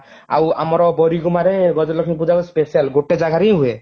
ଆଉ ଆମର ବରିଗୁମାରେ ଗଜଲକ୍ଷ୍ମୀ ପୂଜାର special ଗୋଟେ ଜାଗାରେ ହିଁ ହୁଏ